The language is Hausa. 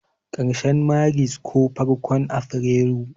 karshen Maris ko farkon afirairu.